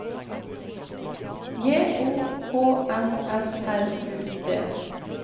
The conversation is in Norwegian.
J O H N S R U D